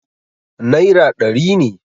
naira ɗari ne